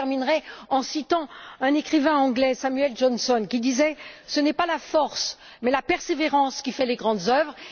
Je terminerai en citant un écrivain anglais, Samuel Johnson, qui disait Ce n'est pas la force mais la persévérance qui fait les grandes œuvres.